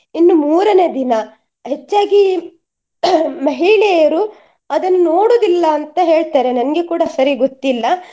ಇನ್ನು ಮೂರನೆ ದಿನ ಹೆಚ್ಚಾಗಿ caughಮಹಿಳೆಯರು ಅದನ್ನು ನೋಡುದಿಲ್ಲ ಅಂತ ಹೇಳ್ತಾರೆ ನಂಗೆ ಕೂಡ ಸರಿ ಗೊತ್ತಿಲ್ಲ.